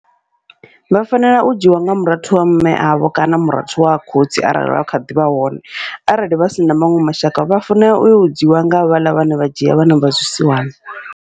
Vha fanela u dzhiiwa nga murathu wa mme avho kana murathu wa khotsi arali vha kha ḓivha hone, arali vha sina maṅwe mashaka vha fanela uyo u dzhiiwa nga havhaḽa vhane vha dzhia vhana vha zwi siwana.